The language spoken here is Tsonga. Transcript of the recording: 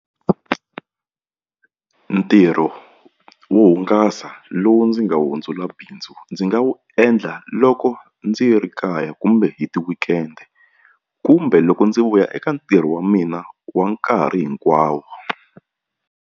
Ntirho wo hungasa lowu ndzi nga wu hundzula bindzu ndzi nga wu endla loko ndzi ri kaya kumbe hi ti-weekend kumbe loko ndzi vuya eka ntirho wa mina wa nkarhi hinkwawo.